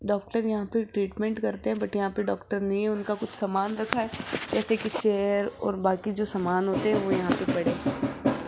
doctor यहां पे treatment करते है बट यहां पे डॉक्टर नहीं है उनका कुछ सामान रखा है जैसे की चेयर और बाकी जो समान होते है वो यहां पे पड़े --